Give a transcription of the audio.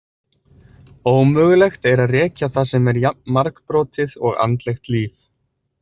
Ómögulegt er að rekja það sem er jafn margbrotið og andlegt líf.